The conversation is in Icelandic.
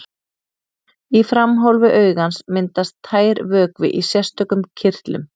Í framhólfi augans myndast tær vökvi í sérstökum kirtlum.